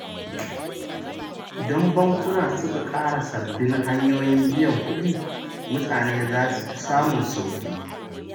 Idan bankuna suka ƙara sabbin hanyoyin biyan kuɗi, mutane za su fi samun sauƙi.